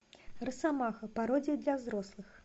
росомаха пародия для взрослых